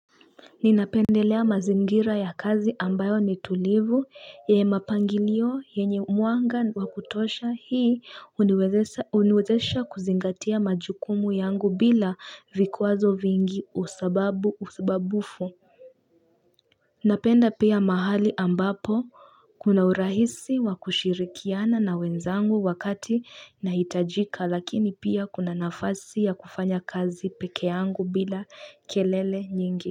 Ninapendelea mazingira ya kazi ambayo ni tulivu yenye mapangilio yenye mwanga wa kutosha hii kuniwezesha kuzingatia majukumu yangu bila vikwazo vingi usababu usbabufu Napenda pia mahali ambapo kuna urahisi wa kushirikiana na wenzangu wakati nahitajika lakini pia kuna nafasi ya kufanya kazi peke yangu bila kelele nyingi.